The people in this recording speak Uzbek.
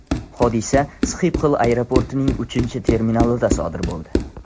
Hodisa Sxipxol aeroportining uchinchi terminalida sodir bo‘ldi.